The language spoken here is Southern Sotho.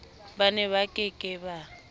ba neba ke ke ba